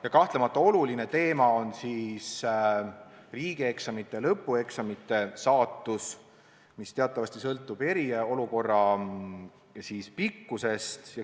Ja kahtlemata on oluline teema ka riigieksamite, lõpueksamite saatus, mis teatavasti sõltub eriolukorra kestusest.